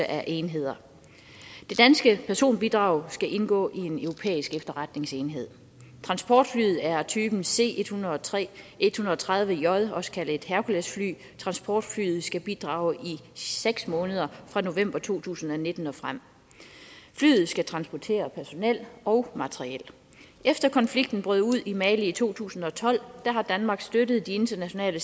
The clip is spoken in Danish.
af enheder det danske personbidrag skal indgå i en europæisk efterretningsenhed transportflyet er af typen c 130j også kaldet et herkulesfly transportflyet skal bidrage i seks måneder fra november to tusind og nitten og frem flyet skal transportere personel og materiel efter konflikten brød ud i mali i to tusind og tolv har danmark støttet de internationale